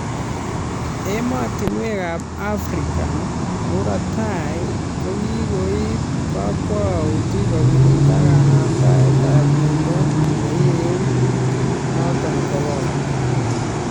Emotunwekab Africa murot tai kokikoib kakwaut kokirinda kanamndaetab miondo neiregu kutik noton Corona